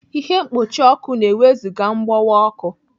Ihe mkpuchi ọkụ na-ewezụga mgbọwa ọkụ.